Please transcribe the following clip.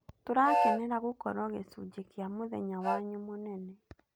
Tũrakenera gũkorũo gĩcunjĩ kĩa mũthenya wanyũ mũnene.